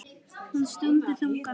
Hún stundi þungan.